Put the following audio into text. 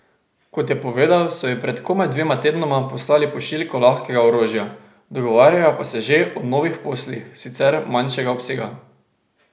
Kot je povedal, so ji pred komaj dvema tednoma poslali pošiljko lahkega orožja, dogovarjajo pa se že o novih poslih, sicer manjšega obsega.